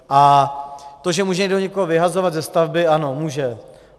A to, že může někdo někoho vyhazovat ze stavby - ano může.